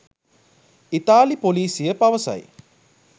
ඉතාලි පොලිසිය පවසයි